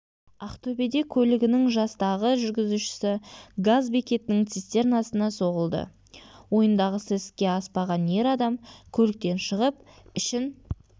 ақтөбеде көлігінің жастағы жүргізушісі газ бекетінің цистернасына соғылды ойындағысы іске аспаған ер адам көліктен шығып ішін